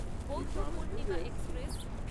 বৌদ্ধ পূর্ণিমা এক্সপ্রেস